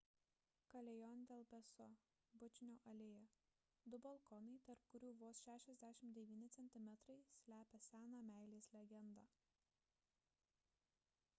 callejon del beso bučinio alėja. du balkonai tarp kurių vos 69 centimetrai slepia seną meilės legendą